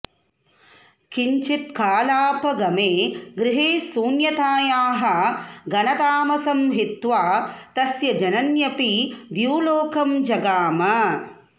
किञ्चत्कालापगमे गृहे शून्यतायाः घनतामसं हित्वा तस्य जनन्यपि द्युलोकं जगाम